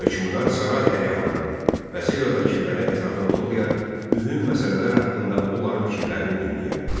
Hökmdar saray əyanlarını, vəzir və vəkilləri ətrafına toplayar, mühüm məsələlər haqqında onların fikirlərini dinləyərdi.